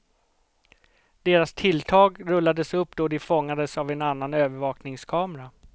Deras tilltag rullades upp då de fångades av en annan övervakningskamera.